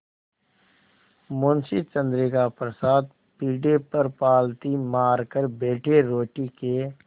मुंशी चंद्रिका प्रसाद पीढ़े पर पालथी मारकर बैठे रोटी के